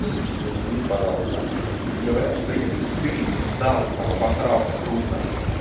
ещё один миф пожалуйста говорят что если ты не сдал ну там обасрался крупно